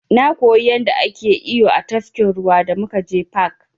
Na koyi yanda ake iyo a tafkin ruwa da muka je fak.